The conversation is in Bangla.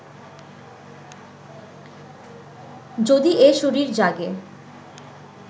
যদি এ শরীর জাগে